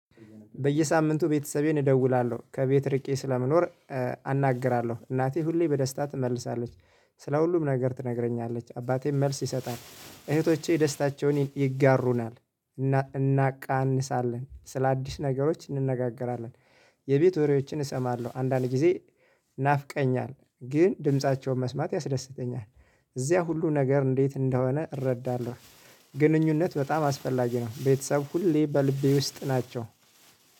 በየሳምንቱ ቤተሰቤን እደውላለሁ ከቤት ርቄ ስለምኖር። አናግራለሁ እናቴ ሁሌ በደስታ ትመልሳለች። ስለ ሁሉም ነገር ትነግረኛለች አባቴም መልስ ይሰጣል እህቶቼ ደስታቸውን ይጋሩናል። እናቃንሳለን ስለአዲስ ነገሮች እንነጋገራለን። የቤት ወሬዎችን እሰማለሁ አንዳንድ ጊዜ። ናፍቀሀኛል ግን ድምፃቸውን መስማት ያስደስተኛል። እዚያ ሁሉ ነገር እንዴት እንደሆነ እረዳለሁ። ግንኙነት በጣም አስፈላጊ ነው። ቤተሰብ ሁሌ በልቤ ውስጥ ናቸው